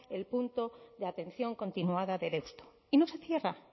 el punto de atención continuada de deusto y no se cierra